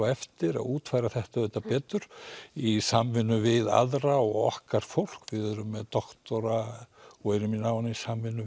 eftir að útfæra þetta betur í samvinnu við aðra og okkar fólk við erum með doktora og erum í náinni samvinnu